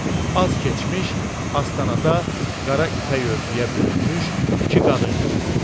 Az keçmiş, astanada, qara ipək örtüyə bürünmüş iki qadın göründü.